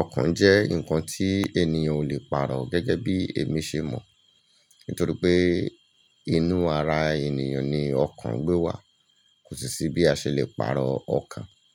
Ọkàn jẹ́ nǹkan tí ènìyàn ò lè pàrọ̀ gẹ́gẹ́ bí èmi ṣe mọ̀. Nítorí pé inú ara ènìyàn ni ọkàn gbé wà. Kò sí sí bí a ṣe lè pàrọ̀ ọkàn.